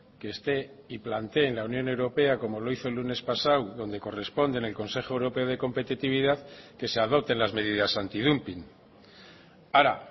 que esté y planteé en la unión europea como lo hizo el lunes pasado donde corresponde en el consejo europeo de competitividad que se adopten las medidas antidumping ahora